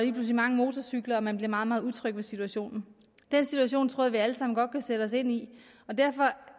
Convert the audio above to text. mange motorcykler man bliver meget meget utryg ved situationen den situation tror jeg vi alle sammen godt kan sætte os ind i og derfor